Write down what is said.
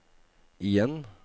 igjen